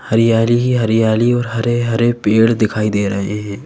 हरियाली ही हरियाली और हरे-हरे पेड़ दिखाई दे रहे हैं।